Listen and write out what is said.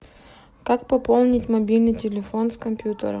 как пополнить мобильный телефон с компьютера